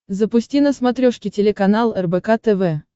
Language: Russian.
запусти на смотрешке телеканал рбк тв